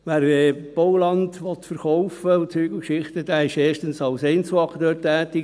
Wer Bauland verkaufen will und so weiter, ist erstens als Einzelakteur tätig.